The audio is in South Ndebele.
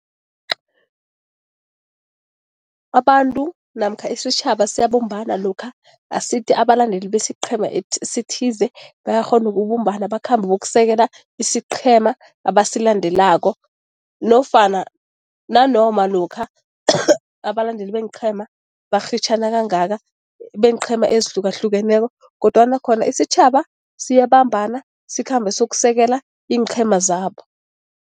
Abantu namkha isitjhaba siyabumbana lokha asithi abalandeli besiqhema esithize bayakghona ukubumbana bakhambe bayokusekela isiqhema abasilandelako nofana nanoma lokha abalandeli beenqhema barhitjhana kangaka, beenqhema ezihlukahlukeneko kodwana khona isitjhaba siyabambana, sikhambe siyokusekela iinqhema zabo.